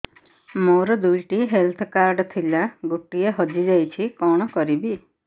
ମୋର ଦୁଇଟି health card ଥିଲା ଗୋଟିଏ ହଜି ଯାଇଛି କଣ କରିବି